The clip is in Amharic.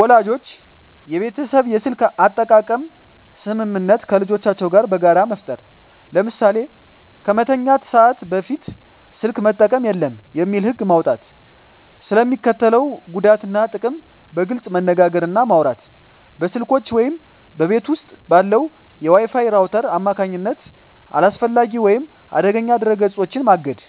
ወላጆች የቤተሰብ የስልክ አጠቃቀም ስምምነት ከልጆቻቸው ጋር በጋራ መፍጠር። ለምሳሌ "ከመተኛት ሰዓት በፊት ስልክ መጠቀም የለም" የሚል ህግ መውጣት። ስለ ሚስከትለው ጉዳት እና ጥቅም በግልፅ መነጋገር እና ማውራት። በስልኮች ወይም በቤት ውስጥ ባለው የWi-Fi ራውተር አማካኝነት አላስፈላጊ ወይም አደገኛ ድረ-ገጾችን ማገድ።